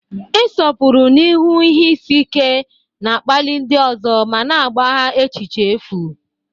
Ịsọpụrụ n'ihu ihe isi ike na-akpali ndị ọzọ ma na-agbagha echiche efu.